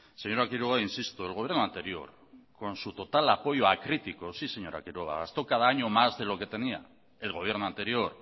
señora quiroga insisto el gobierno anterior con su total apoyo a críticos sí señor quiroga gastó cada año más de lo que tenía el gobierno anterior